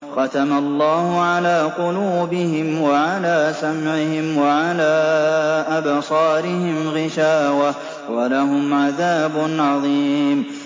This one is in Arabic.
خَتَمَ اللَّهُ عَلَىٰ قُلُوبِهِمْ وَعَلَىٰ سَمْعِهِمْ ۖ وَعَلَىٰ أَبْصَارِهِمْ غِشَاوَةٌ ۖ وَلَهُمْ عَذَابٌ عَظِيمٌ